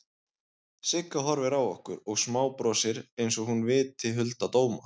Sigga horfir á okkur og smábrosir einsog hún viti hulda dóma.